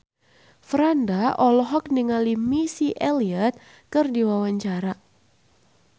Franda olohok ningali Missy Elliott keur diwawancara